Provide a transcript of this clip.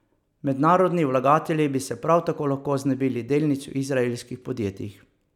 Mednarodni vlagatelji bi se prav tako lahko znebili delnic v izraelskih podjetjih.